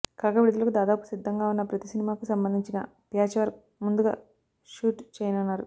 కాగా విడుదలకు దాదాపు సిద్దంగా వున్న ప్రతి సినిమాకు సంబంధించిన ప్యాచ్ వర్క్ ముందుగా షూట్ చేయనున్నారు